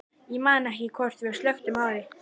Ég man ekki hvort við slökktum á því.